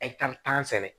tan sɛnɛ